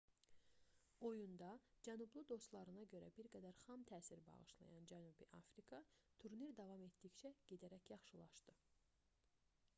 oyunda cənublu dostlarına görə bir qədər xam təsir bağışlayan cənubi afrika turnir davam etdikcə gedərək yaxşılaşdı